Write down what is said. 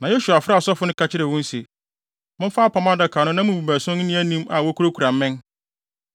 Na Yosua frɛɛ asɔfo no ka kyerɛɛ wɔn se, “Momfa Apam Adaka no na mo mu baason nni anim a wokurakura mmɛn.”